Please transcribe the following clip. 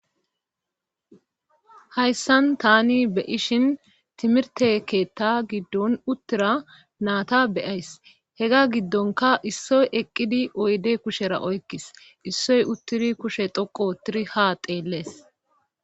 hayssan tani be ishin timirteketta giddon uttira naata beyays hega giddonka issoy eqqidi oyde kushera oykkis issoy uttidi kushe xoqo ottiri ha xeellees